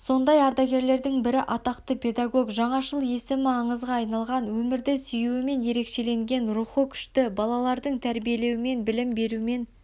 сондай ардагерлердің бірі атақты педагог жаңашыл есімі аңызға айналған өмірді сүюімен ерекшеленген рухы күшті балаларды тәрбиелеумен білім берумен